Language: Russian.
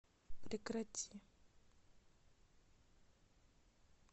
прекрати